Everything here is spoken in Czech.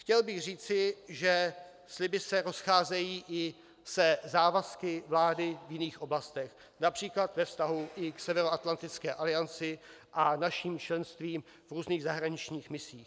Chtěl bych říci, že sliby se rozcházejí i se závazky vlády v jiných oblastech, například ve vztahu i k Severoatlantické alianci a našim členstvím v různých zahraničních misích.